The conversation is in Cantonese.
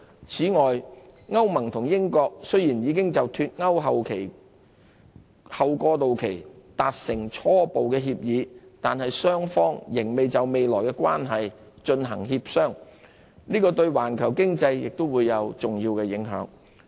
此外，歐盟與英國雖然已就"脫歐"後過渡期達成初步協議，但雙方仍要就未來的關係進行協商。這對環球經濟亦會有重要影響。